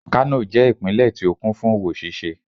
kano je ipinle ti o kún fún owo ṣíṣe